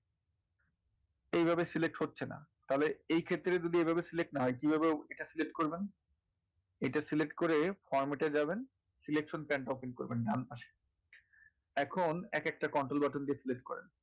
এইভাবে select হচ্ছে না তাহলে এইক্ষেত্রে যদি এইভাবে select না হয় কীভাবে select করবেন? এটা select করে format এ যাবেন selection and copy করবেন ডান পাশে। এখন একএকটা control button দিয়ে select করেন।